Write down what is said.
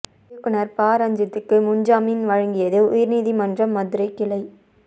இயக்குநர் பா ரஞ்சித்துக்கு முன் ஜாமீன் வழங்கியது உயர்நீதிமன்ற மதுரை கிளை